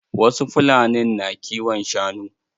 Wasu fulanin na kiwon shanu.